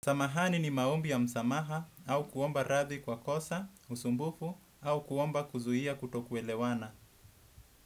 Samahani ni maombi ya msamaha, au kuomba radhi kwa kosa, usumbufu au kuomba kuzuia kutoku elewana.